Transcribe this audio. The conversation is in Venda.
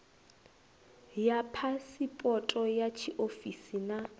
ya phasipoto ya tshiofisi na